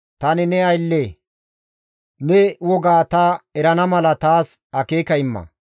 Tani ne aylle; ne wogaa ta erana mala taas akeeka imma.